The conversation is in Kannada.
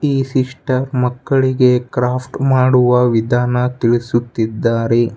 ಈ ಸಿಸ್ಟರ್ ಮಕ್ಕಳಿಗೆ ಕ್ರಾಫ್ಟ್ ಮಾಡುವ ವಿಧಾನ ತಿಳಿಸುತ್ತಿದ್ದಾರೆ.